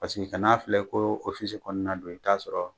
Paseke kan'a filɛ ko kɔnɔna don i t'a sɔrɔ.